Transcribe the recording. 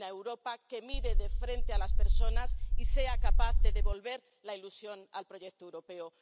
Una Europa que mire de frente a las personas y sea capaz de devolver la ilusión al proyecto europeo.